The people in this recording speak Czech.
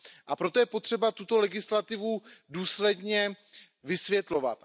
A proto je potřeba tuto legislativu důsledně vysvětlovat.